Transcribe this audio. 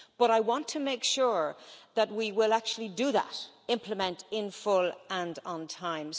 But I want to make sure that we will actually do that implement in full and on time.